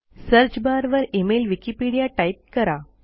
search बारवर e mail Wikipedia type करा